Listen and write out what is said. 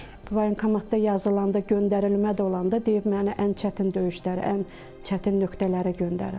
Voyinkomatda yazılanda, göndərilmə də olanda deyib məni ən çətin döyüşlərə, ən çətin nöqtələrə göndərin.